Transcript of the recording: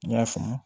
N y'a faamu